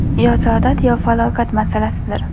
yo saodat — yo falokat masalasidir.